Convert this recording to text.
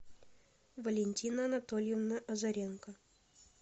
валентина анатольевна озаренко